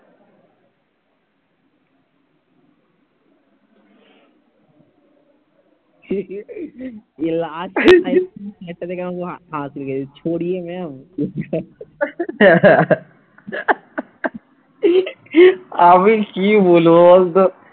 কি বলবো বলতো?